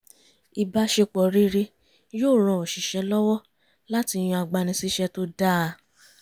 ìbáṣepọ̀ rere yóò ran oṣìṣẹ́ lọwọ láti yàn agbani-síṣẹ́ tó dáa